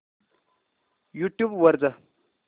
YouTube वर जा